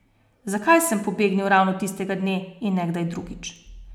Zakaj sem pobegnil ravno tistega dne in ne kdaj drugič?